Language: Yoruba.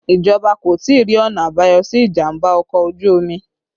Ìjọba kò tí ì rí ọ̀nà àbáyọ sí ìjàmbá ọkọ̀ ojú omi